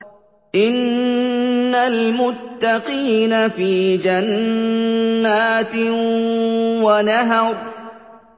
إِنَّ الْمُتَّقِينَ فِي جَنَّاتٍ وَنَهَرٍ